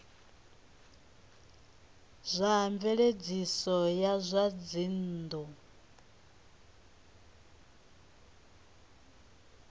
zwa mveledziso ya zwa dzinnu